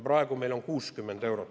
Praegu on meil see 60 eurot.